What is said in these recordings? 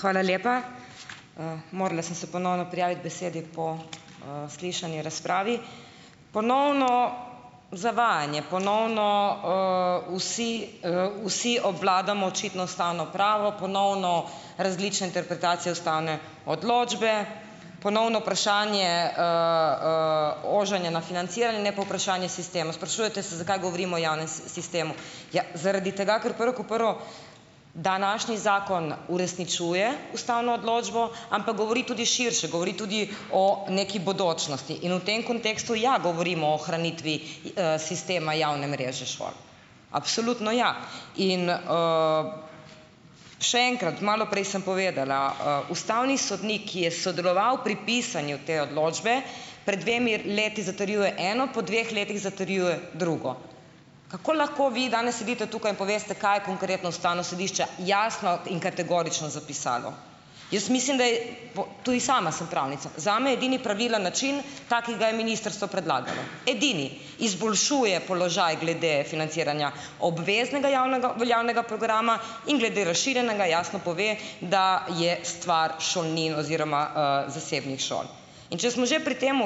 Hvala lepa, morala sem se ponovno prijaviti besedi po, slišani razpravi ponovno zavajanje ponovno, vsi, vsi obvladamo očitno ustavno pravo, ponovno različne interpretacije ustavne odločbe, ponovno vprašanje, ožanje na financiranje, po vprašanje sistemu sprašujete se, zakaj govorimo o javnem sistemu. Ja, zaradi tega, ker prvo kot prvo današnji zakon uresničuje ustavno odločbo, ampak govori tudi širše, govori tudi o neki bodočnosti in v tem kontekstu, ja, govorimo o ohranitvi sistema javne mreže šol. Absolutno ja in, še enkrat, malo prej sem povedala, ustavni sodnik, ki je sodeloval pri pisanju te odločbe pred dvema letoma, zatrjuje po dveh letih zatrjuje drugo, kako lahko vi danes sedite tukaj, poveste, kaj je konkretno ustavno sodišče jasno in kategorično zapisalo. Ja, mislim zdaj po tudi sama sem pravnica, zame edini pravilen način, ta, ki ga je ministrstvo predlagalo, edini izboljšuje položaj glede financiranja obveznega javnega veljavnega programa in glede razširjenega jasno pove, da je stvar šolnin oziroma, zasebnih šol, in če smo že pri tem,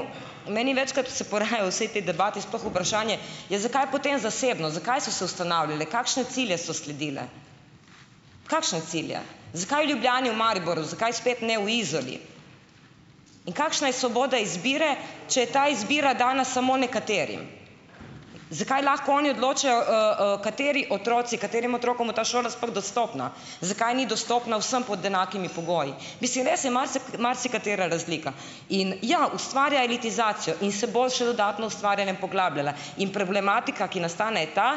meni večkrat se porajajo vse te debate sploh vprašanje, ja, zakaj potem zasebno, zakaj so se ustanavljale, kakšne cilje so sledile, kakšne cilje, zakaj v Ljubljani, v Mariboru, zakaj spet ne v Izoli, in kakšna je svoboda izbire, če je ta izbira dana samo nekaterim. Zakaj lahko oni odločajo, kateri otroci katerim otrokom bo ta šola sploh dostopna, zakaj ni dostopna vsem pod enakimi pogoji, mislim, res je marsikatera razlika, in ja, ustvarja elitizacijo in se bo še dodatno ustvarjala in poglabljala in problematika, ki nastane, je ta,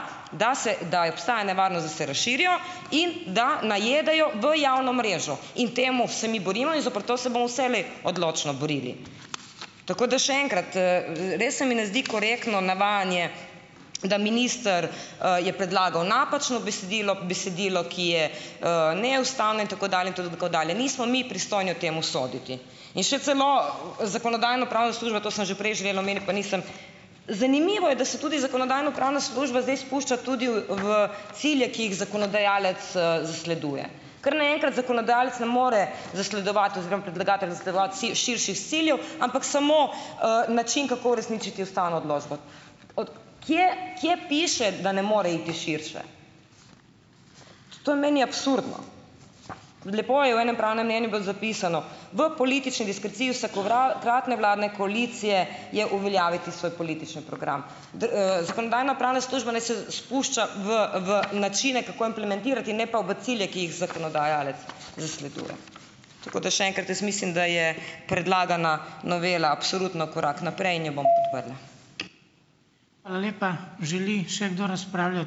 da se da obstaja nevarnost, da se razširijo in da najedajo v javno mrežo, in temu se mi borimo in zoper to se bomo vselej odločno borili, tako da še enkrat, res se mi ne zdi korektno navajanje, da minister, je predlagal napačno besedilo besedilo, ki je, neustavno in tako dalje in tako dalje, nismo mi pristojni o tem soditi, in še celo zakonodajno-pravna služba, to sem že prej želela omeniti, pa nisem, zanimivo je, da se tudi zakonodajno-pravna služba zdaj spušča tudi v cilje, ki jih zakonodajalec, zasleduje, kar naenkrat zakonodajalec ne more zasledovati oziroma predlagatelj zasledovati širših ciljev, ampak samo, način, kako uresničiti ustavno odločbo. kje kje piše, da ne more iti širše, to je meni absurdno, lepo je v enem pravnem mnenju bilo zapisano, v politični diskreciji vsako- kratne vladne koalicije je uveljaviti svoj politični program zakonodajno-pravna služba naj se spušča v v načine, kako implementirati, ne pa v cilje, ki jih zakonodajalec zasleduje, tako da še enkrat jaz mislim, da je predlagana novela absolutno korak naprej in jo bomo podprli. Hvala lepa, želi še kdo razpravljati?